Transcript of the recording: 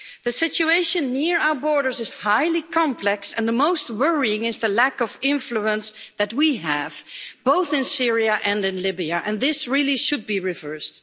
The situation near our borders is highly complex, and most worrying is the lack of influence that we have, both in Syria and in Libya, and this really should be reversed.